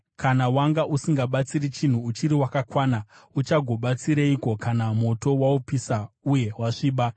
Kana wanga usingabatsiri chinhu uchiri wakakwana, uchagobatsireiko kana moto waupisa uye wasviba?